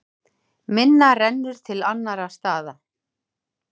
Minna rennur til annarra staða.